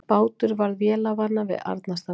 Bátur varð vélarvana við Arnarstapa